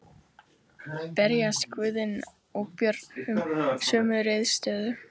Berjast Guðni og Björn um sömu sneiðarnar?